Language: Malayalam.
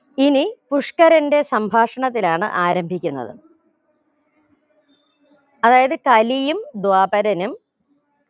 ഇനി പുഷ്‌കരന്റെ സംഭാഷണത്തിലാണ് ആരംഭിക്കുന്നത് അതായത് കലിയും ധ്വാപരനും